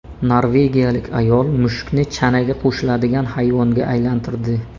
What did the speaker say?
Norvegiyalik ayol mushukni chanaga qo‘shiladigan hayvonga aylantirdi .